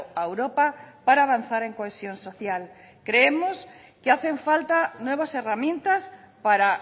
a europa para avanzar en cohesión social creemos que hacen falta nuevas herramientas para